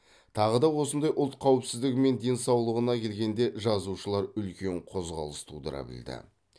тағы да осындай ұлт қауіпсіздігі мен денсаулығына келгенде жазушылар үлкен қозғалыс тудыра білді